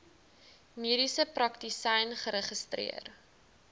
mediese praktisyn geregistreer